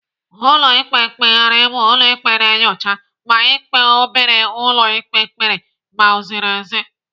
Ụlọ ikpe mkpegharị bụ ụlọ ikpe na-enyocha ma ikpe obere ụlọ ikpe kpere ma o ziri ezi.